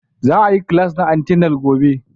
Za a yi class na antenal gobe.